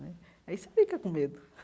Né aí você fica com medo.